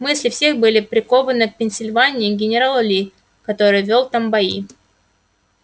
мысли всех были прикованы к пенсильвании и к генералу ли который вёл там бои